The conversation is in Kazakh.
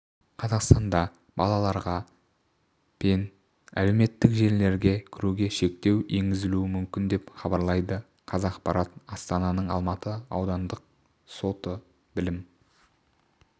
қазақстанда балаларға пен әлеуметтік желілерге кіруге шектеу енгізілуі мүмкін деп хабарлайды қазақпарат астананың алматы аудандық сотыбілім